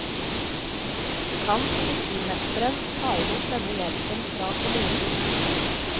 Kan politimesteren ta imot denne hjelpen fra kommunen?